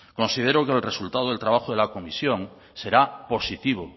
considero que el resultado del trabajo de la comisión será positivo